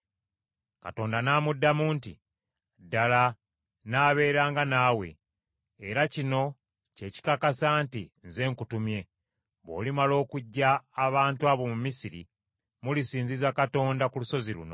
Katonda n’amuddamu nti, “Ddala, nnaabeeranga naawe. Era kino kye kikakasa nti nze nkutumye: Bw’olimala okuggya abantu abo mu Misiri, mulisinziza Katonda ku lusozi luno.”